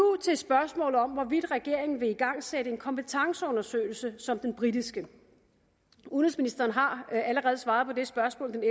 til spørgsmålet om hvorvidt regeringen vil igangsætte en kompetenceundersøgelse som den britiske udenrigsministeren har allerede svaret på det spørgsmål den